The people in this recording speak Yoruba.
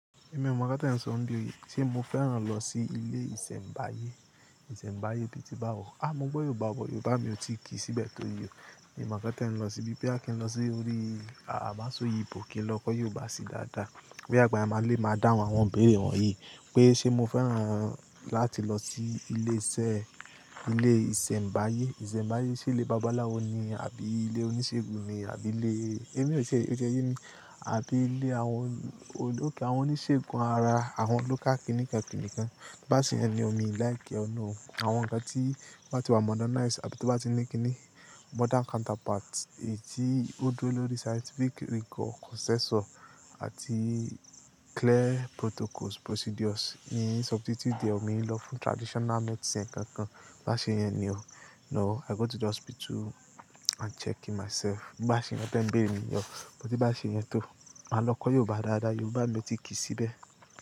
Èmi ò mọ̀ nkán tẹ́ n sọ nìbí o, se mo fẹ́ràn lọ sí ilé ìsẹ̀mbáyé. Ìsẹ̀mbáyé bíi ti Bawo. A mo gbọ́ Yorùbá wọ, Yorùbá mi ò ti ki síbẹ̀ tó yii. Èmi mọ̀ káta ẹ́ n lọ síbi pé Akin lọ sí orí màsọyìbo ìpòkẹ́ lọ kọ́ Yorùbá sí dáadáa. Bí àgbàya máa le máa dáhùn àwọn òbí rẹ̀ wọ̀nyí pé ṣe mo fẹ́ràn láti lọ sí ilé iṣẹ́, ilé ìsẹ̀mbáyé. Ìsẹ̀mbáyé ṣí ilé bàbáláwo ni àbí ilé oníṣègùn ni àbí ilé, èmi ò ṣe, ó jẹ yé mi, àbí ilé àwọn olóòkè àwọn oníṣègùn ara àwọn local clinic ẹni kankan. Bá ṣe yẹn ni omi like ọ̀nà o. Àwọn ǹkan tí wọ́n ti wà modernized àbí tí wọ́n bá ti ní kíni modern counterpart, èyí tí ó dúró lórí scientific rigor, consensus àti clear protocols, procedures. N ò yin substitute the omi lọ fún traditional medicine kan kan. Bá ṣe yẹn ni o. No, I go to the hospital and check in myself. Bá ṣe yẹn bẹ́ẹ̀ ń béèrè mi ni o. Bó ti bá ṣe yẹn tó, màá lọ kọ́ Yorùbá dáadáa. Yorùbá mi ò ti ki síbẹ̀